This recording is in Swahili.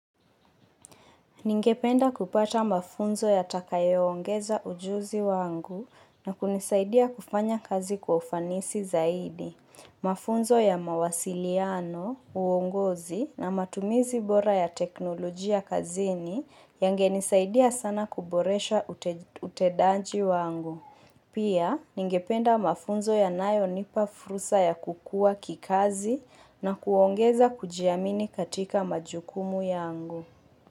Ningependa kupata mafunzo ya takayoongeza ujuzi wangu na kunisaidia kufanya kazi kwa ufanisi zaidi. Mafunzo ya mawasiliano, uongozi na matumizi bora ya teknolojia kazini yangenisaidia sana kuboresha utendaji wangu. Pia, ningependa mafunzo yanayo nipa fursa ya kukua kikazi na kuongeza kujiamini katika majukumu yangu.